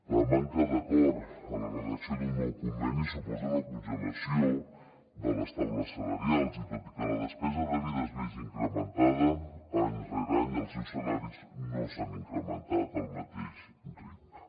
la manca d’acord en la redacció d’un nou conveni suposa una congelació de les taules salarials i tot i que la despesa de vida es vegi incrementada any rere any els seus salaris no s’han incrementat al mateix ritme